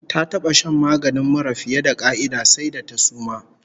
Ta taba shan maganin mura fiye da ƙa'ida, sai da ta suma!